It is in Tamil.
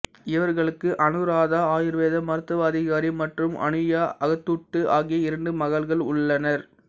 இவர்களுக்கு அனுராதா ஆயுர்வேத மருத்துவ அதிகாரி மற்றும் அனுயா அகத்தூட்டு ஆகிய இரண்டு மகள்கள் உள்ளனர்